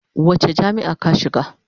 Wace jami'a ka shiga?